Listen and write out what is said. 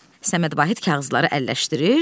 Səməd Vahid kağızları əlləşdirir.